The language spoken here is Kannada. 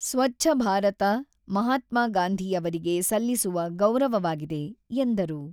"""ಸ್ವಚ್ಚ ಭಾರತ ಮಹಾತ್ಮಗಾಂಧಿ ಅವರಿಗೆ ಸಲ್ಲಿಸುವ ಗೌರವವಾಗಿದೆ"" ಎಂದರು."